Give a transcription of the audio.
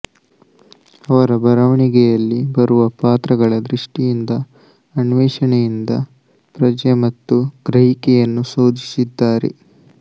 ಅವರ ಬರವಣಿಗೆಯಲ್ಲಿ ಬರುವ ಪಾತ್ರಗಳ ದೃಷ್ಟಿಯಿಂದ ಅನ್ವೇಷಣೆಯಿಂದ ಪ್ರಜ್ಞೆ ಮತ್ತು ಗ್ರಹಿಕೆಯನ್ನು ಶೋಧಿಸಿದ್ದಾರೆ